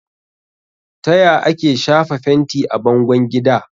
Taya ake shafa fenti a bangon gida?